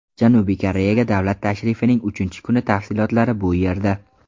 Janubiy Koreyaga davlat tashrifining uchinchi kuni tafsilotlari bu yerda.